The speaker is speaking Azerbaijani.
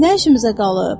Nə işimizə qalıb?